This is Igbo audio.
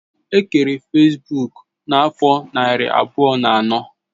E kere fesbuk n'afo nari abuo na ano